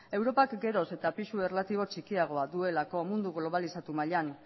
europak geroz eta pisu erlatibo txikiagoa duelako mundu globalizatu mailan